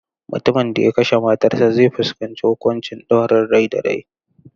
Mutumin da ya kashe matarsa ​​zai fuskanci huƙuncin ɗaurin rai da rai.